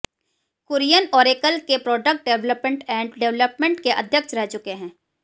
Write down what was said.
Kurien Oracle के product development and development के अध्यक्ष रह चुके हैं